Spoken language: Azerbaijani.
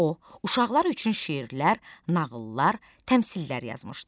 O, uşaqlar üçün şeirlər, nağıllar, təmsillər yazmışdı.